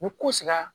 Ni kow sigira